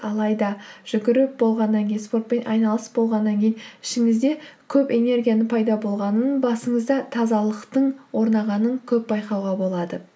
алайда жүгіріп болғаннан кейін спортпен айналысып болғаннан кейін ішіңізде көп энергияның пайда болғанын басыңызда тазалықтың орнағанын көп байқауға болады